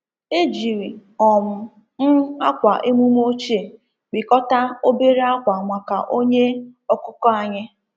E jiri um m akwa emume ochie kpịkọta obere akwa maka onye ọkụkọ anyị.